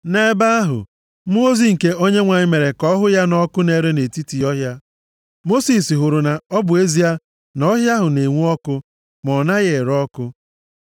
Nʼebe ahụ, mmụọ ozi nke Onyenwe anyị mere ka ọ hụ ya nʼọkụ na-ere nʼetiti ọhịa. Mosis hụrụ na ọ bụ ezie na ọhịa ahụ na-enwu ọkụ ma ọ naghị ere ọkụ.